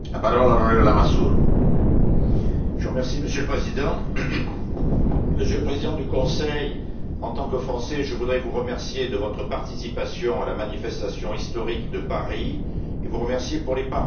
Monsieur le Président, Monsieur le Président du Conseil, en tant que Français, je voudrais vous remercier pour votre participation à la manifestation historique de Paris et pour les paroles sensibles et justes qu'elle vous a inspirées.